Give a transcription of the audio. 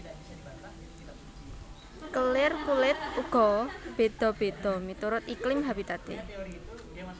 Kelir kulit uga beda beda miturut iklim habitate